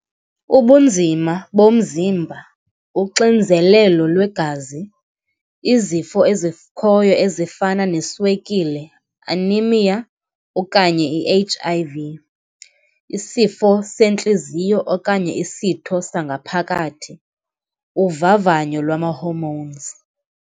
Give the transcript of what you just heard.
Ubunzima bomzimba, uxinzelelo lwegazi, izifo ezikhoyo ezifana neswekile, anaemia okanye i-H_I_V, isifo sentliziyo okanye isitho sangaphakathi, uvavanyo lwama-hormones.